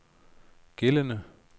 gældende